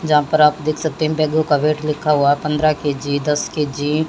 जहां पर आप देख सकते हैं इन बैगों का वेट लिखा हुआ पंद्रह के_जी दस के_जी --